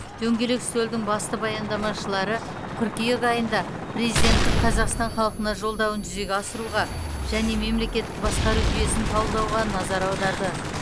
дөңгелек үстелдің басты баяндамашылары қыркүйек айында президенттің қазақстан халқына жолдауын жүзеге асыруға және мемлекеттік басқару жүйесін талдауға назар аударды